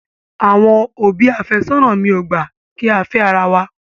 Àwọn òbí àfẹ́sónà mi ò gbà kí á fẹ́ ara wa.